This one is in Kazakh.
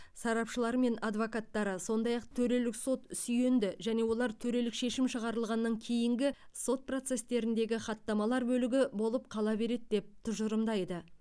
сарапшылары және адвокаттары сондай ақ төрелік сот сүйенді және олар төрелік шешім шығарылғаннан кейінгі сот процестеріндегі хаттамалар бөлігі болып қала береді деп тұжырымдайды